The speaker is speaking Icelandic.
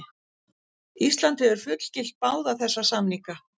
Ísland hefur fullgilt báða þessa samninga.